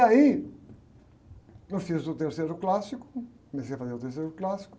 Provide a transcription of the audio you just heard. E aí, eu fiz o terceiro clássico, comecei a fazer o terceiro clássico,